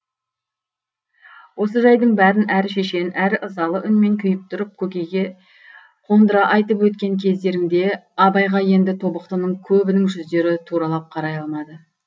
осы жайдың бәрін әрі шешен әрі ызалы үнмен күйіп тұрып көкейге қондыра айтып өткен кездерінде абайға енді тобықтының көбінің жүздері туралап қарай алмады